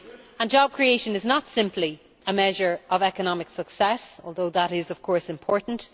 And job creation is not simply a measure of economic success, although that is, of course, important